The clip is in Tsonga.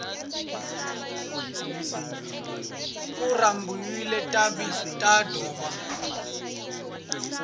ku rhambiwile tinqambhi ta ndhuma